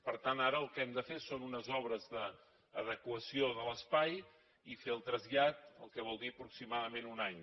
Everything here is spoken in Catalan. per tant ara el que hem de fer són unes obres d’adequació de l’espai i fer el trasllat la qual cosa vol dir aproximadament un any